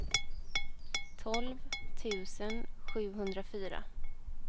tolv tusen sjuhundrafyra